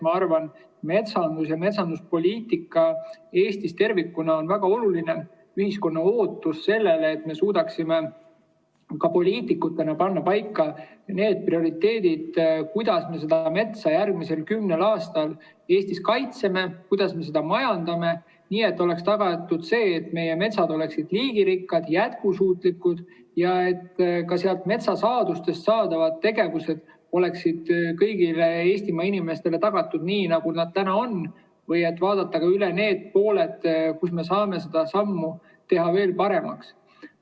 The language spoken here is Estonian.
Ma arvan, rääkides metsandusest ja metsanduspoliitikast Eestis tervikuna, et on väga oluline ühiskonna ootus, et me suudaksime poliitikutena panna paika need prioriteedid, kuidas me metsa järgmisel kümnel aastal Eestis kaitseme, kuidas me seda majandame, nii et oleks tagatud see, et meie metsad oleksid liigirikkad, jätkusuutlikud ja ka metsasaadustega seotud tegevused oleksid kõigile Eestimaa inimestele tagatud, nii nagu praegu on, ning tuleks vaadata üle, kus me saame seda teha veel paremaks.